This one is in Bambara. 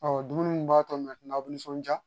dumuni min b'a to aw nisɔndiya